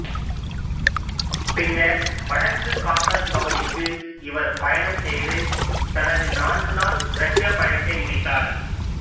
பின்னர் வடக்கு காகசஸ் பகுதிக்கு இவர் பயணம் செய்து தனது நான்கு நாள் ரஷ்ய பயணத்தை முடித்தார்